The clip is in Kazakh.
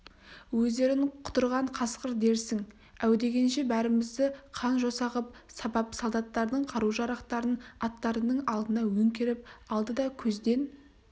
өздерін құтырған қасқыр дерсің әу дегенше бәрімізді қан-жоса ғып сабап солдаттардың қару-жарақтарын аттарының алдына өңгеріп алды да көзден